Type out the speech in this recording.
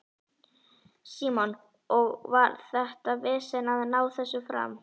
Símon: Og var þetta vesen að ná þessu fram?